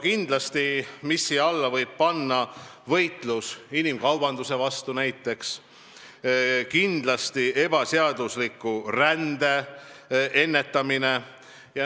Kindlasti võib nimetada näiteks võitlust inimkaubanduse vastu ja ebaseadusliku rände tõkestamist.